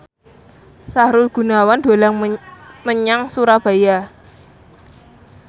Sahrul Gunawan dolan menyang Surabaya